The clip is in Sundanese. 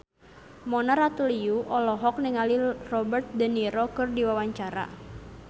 Mona Ratuliu olohok ningali Robert de Niro keur diwawancara